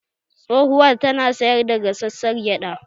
Tsohuwar tana sayar da gasassar gyada